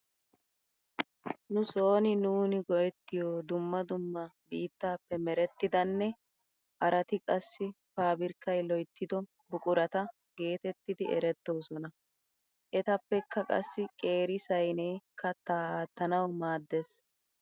Nu sooni nuuni go'ettiyo dumma dumma biittaappe merettidanne harati qassi paabirkkay loyttido buqurata geetettidi erettoosona. Etappeka qassi qeeri saynee kattaa aattanawu maaddees.